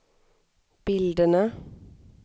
bilderna